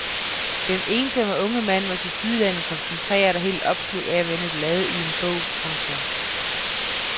Den ensomme unge mand var tilsyneladende koncentreret og helt opslugt af at vende blade i en bog. punktum